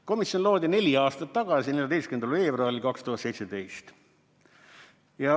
Komisjon loodi neli aastat tagasi, 14. veebruaril 2017.